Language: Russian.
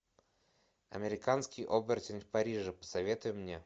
американский оборотень в париже посоветуй мне